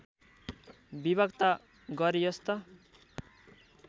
विभक्त गरियोस् त